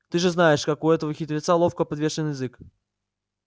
ты же знаешь как у этого хитреца ловко подвешен язык